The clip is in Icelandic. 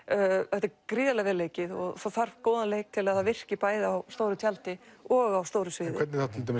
þetta er gríðarlega vel leikið og það þarf góðan leik til að það virki bæði á stóru tjaldi og á stóru sviði hvernig